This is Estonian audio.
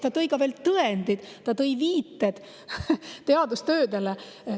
Ta tõi ka tõendid, ta viitas teadustöödele.